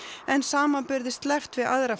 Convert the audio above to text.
en samanburði sleppt við aðra